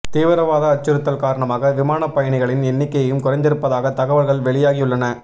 தீவிரவாத அச்சுறுத்தல் காரணமாக விமானப் பயணிகளின் எண்ணிக்கையும் குறைந்திருப்பதாக தகவல்கள் வெளியாகியுள்ளன